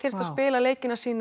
að spila leiki sína